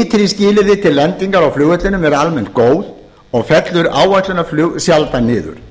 ytri skilyrði til lendinga á flugvellinum eru almennt góð og fellur áætlunarflug sjaldan niður